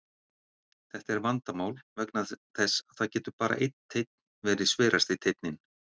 Þetta er vandamál vegna þess að það getur bara einn teinn verið sverasti teinninn.